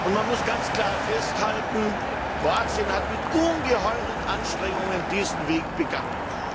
Man muss ganz klar festhalten Kroatien ist mit ungeheueren Anstrengungen diesen Weg gegangen.